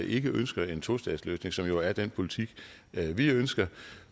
ikke ønsker en tostatsløsning som jo er den politik vi ønsker